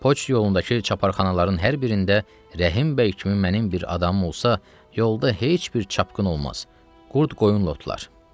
Poçt yolundakı çaparxanaların hər birində Rəhimbəy kimi mənim bir adamım olsa, yolda heç bir çapqın olmaz, qurd qoyun otlar.